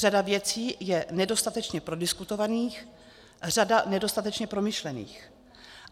Řada věcí je nedostatečně prodiskutovaných, řada nedostatečně promyšlených.